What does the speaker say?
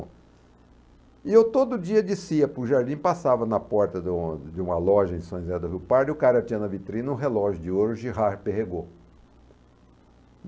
E eu todo dia descia para o jardim, passava na porta de uma de um loja em São José da Viu Pardo e o cara tinha na vitrina um relógio de ouro Girard Perregaux.